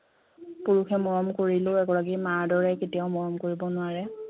পুৰুষে মৰম কৰিলেও এগৰাকী মাৰ দৰে কেতিয়াও মৰম কৰিব নোৱাৰে